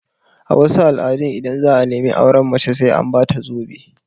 A wasu al'adun, idan za'a nemi auren mace sai an ba ta zobe